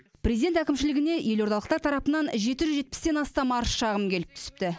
президент әкімшілігіне елордалықтар тарапынан жеті жүз жетпістен астам арыз шағым келіп түсіпті